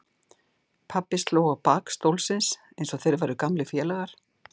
Pabbi sló í bak stólsins eins og þeir væru gamlir félagar.